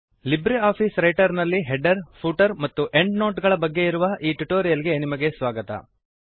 Libre office Writer ನಲ್ಲಿ header footer ಮತ್ತು end note ಗಳ ಬಗ್ಗೆ ಇರುವ ಈ ಟ್ಯುಟೋರಿಯಲ್ ಗೆ ನಿಮಗೆ ಸ್ವಾಗತ